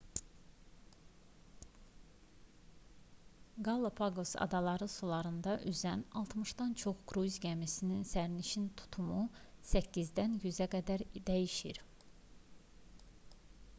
qalapaqos adaları sularında üzən 60-dan çox kruiz gəmisinin sərnişin tutumu 8-dən 100-ə qədər dəyişir